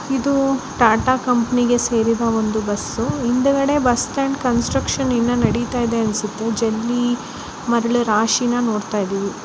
ಇದು ಟಾಟಾ ಕಂಪನಿಗೆ ಸೇರಿದ ಒಂದು ಬಸ್ಸು ಹಿಂದಗಡೆ ಬಸ್ಟಾಂಡ್ ಕನ್ಸ್ಟ್ರಕ್ಷನ್ ಇಂದ ನಡಿತಾ ಇದೆ ಅನ್ಸುತ್ತೆ ಜಲ್ಲಿ ಮರಳ ರಾಶಿ ನೋಡ್ತಾ ಇದ್ದೀವಿ.